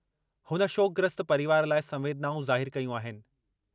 हुन शोकग्रस्त परिवार लाइ संवेदनाऊं ज़ाहिर कयूं आहिनि।